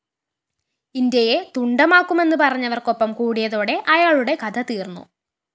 ഇന്ത്യയെ തുണ്ടമാക്കുമെന്നു പറഞ്ഞവര്‍ക്കൊപ്പം കൂടിയതോടെ അയാളുടെ കഥ തീര്‍ന്നു